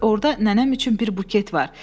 Orda nənəm üçün bir buket var.